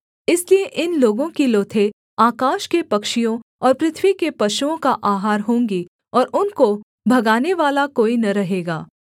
इसलिए इन लोगों की लोथें आकाश के पक्षियों और पृथ्वी के पशुओं का आहार होंगी और उनको भगानेवाला कोई न रहेगा